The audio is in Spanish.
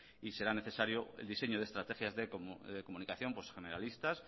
y será necesario el diseño de estrategias de comunicación generalistas